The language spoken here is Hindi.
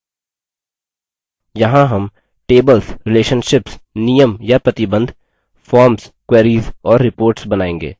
यहाँ हम tables relationships नियम या प्रतिबंध forms queries और reports बनाएँगे